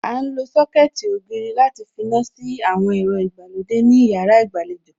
À ń lo Sọ́kẹ̀tì ògiri láti finá sí àwọn ẹ̀rọ ìgbàlódé ní yàrá ìgbàlejò